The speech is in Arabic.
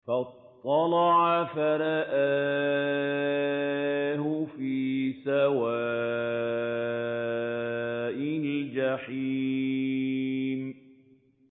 فَاطَّلَعَ فَرَآهُ فِي سَوَاءِ الْجَحِيمِ